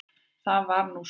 Það var nú svo.